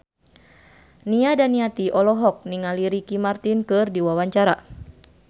Nia Daniati olohok ningali Ricky Martin keur diwawancara